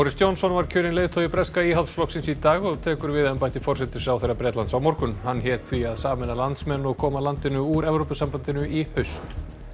Johnson var kjörinn leiðtogi breska Íhaldsflokksins í dag og tekur við embætti forsætisráðherra á morgun hann hét því að sameina landsmenn og koma landinu úr Evrópusambandinu í haust